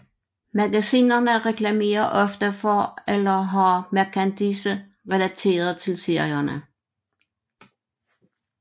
Magasinerne reklamerer ofte for eller har merchandise relateret til serierne